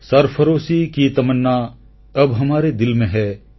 ସର୍ଫରୋଶୀ କି ତମନ୍ନା ଅବ୍ ହମାରେ ଦିଲ ମେ ହୈ